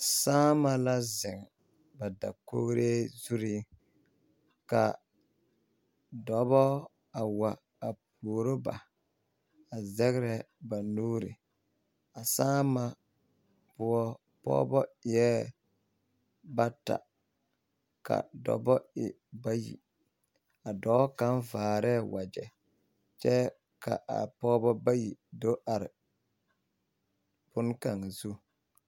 Saama la zeŋ a dakogree zuree ka dɔbɔ a wa puoro ba a zɛgrɛ ba nuuri a saama poɔ pɔgeba eɛ bata ka dɔbɔ e bayi a dɔɔ kaŋ vaarɛɛ wɛgyɛ kyɛ ka pɔgebɔ bayi do are boŋkaŋa zu.